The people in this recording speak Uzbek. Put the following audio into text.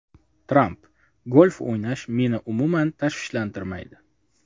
Tramp: Golf o‘ynash meni umuman tashvishlantirmaydi.